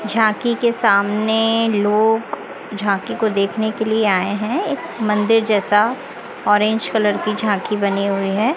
झांकी के सामने लोग झांकी को देखने के लिए आए हैं एक मंदिर जैसा ऑरेंज कलर की झांकी बनी हुई है।